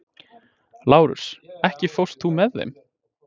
Lárus, ekki fórstu með þeim?